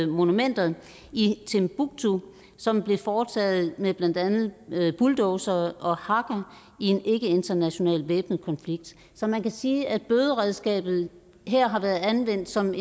monumenter i timbuktu som blev foretaget med blandt andet bulldozere og hakker i en ikkeinternational væbnet konflikt så man kan sige at bøderedskabet her har været anvendt som